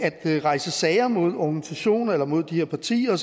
rejse sager mod organisationer eller mod de her partier